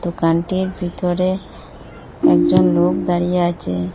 দোকানটির ভিতরে একজন লোক দাঁড়িয়ে আছে।